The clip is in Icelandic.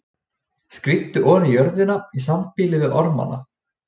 Skríddu oní jörðina í sambýli við ormana.